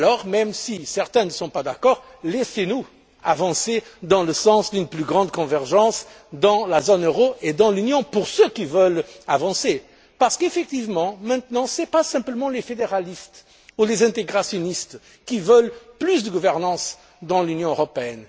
Même si certains ne sont pas d'accord, laissez nous aller dans le sens d'une plus grande convergence dans la zone euro et dans l'Union pour ceux qui veulent avancer parce que maintenant, ce ne sont pas simplement les fédéralistes ou les intégrationnistes qui veulent plus de gouvernance dans l'Union européenne.